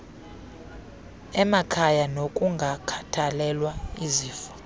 emakhaya nokungakhathalelwa izifo